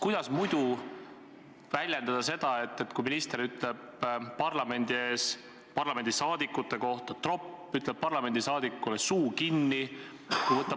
Kuidas muidu väljendada seda, kui minister ütleb parlamendi ees parlamendiliikmete kohta "tropid", ütleb parlamendiliikmele "suu kinni"?